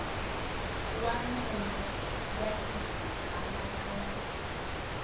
wa meno ya xigidana laya